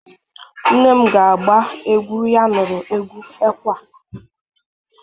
nne m ga agba egwu ya nuru egwu ekwe a